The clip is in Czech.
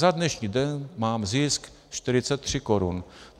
Za dnešní den mám zisk 43 korun.